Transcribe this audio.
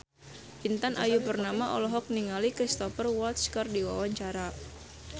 Intan Ayu Purnama olohok ningali Cristhoper Waltz keur diwawancara